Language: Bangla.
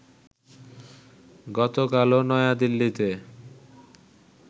গতকালও নয়াদিল্লিতে